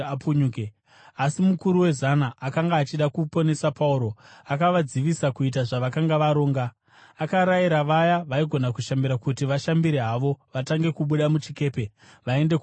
Asi mukuru wezana akanga achida kuponesa Pauro, akavadzivisa kuita zvavakanga varonga. Akarayira vaya vaigona kushambira kuti vashambire havo vatange kubuda muchikepe vaende kumahombekombe.